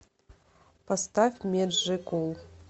поставь меджикул